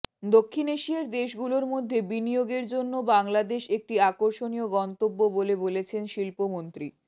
দক্ষিণ এশিয়ার দেশগুলোর মধ্যে বিনিয়োগের জন্য বাংলাদেশ একটি আকর্ষণীয় গন্তব্য বলে বলেছেন শিল্পমন্ত্রী